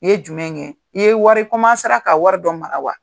I ye jumɛn kɛ ? i ye wari i ka wari dɔw mara wa ?